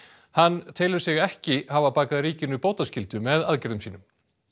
hann telur sig ekki hafa bakað ríkinu bótaskyldu með aðgerðum sínum